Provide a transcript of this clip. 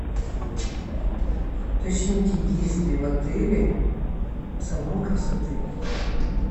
уточните есть ли в отеле салон красоты